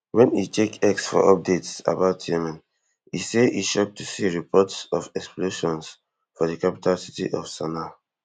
wen e check x for updates about yemen e say e shock to see reports of explosions for di capital city of sanaa